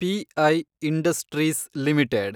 P I industries limited